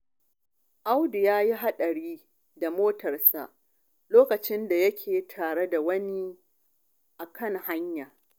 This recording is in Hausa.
Audu ya yi haɗari da motarsa lokacin da yake tsere da wani a kan hanya.